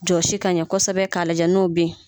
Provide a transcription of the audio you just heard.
Jɔsi ka ɲɛ kosɛbɛ ka lajɛ n'o ben.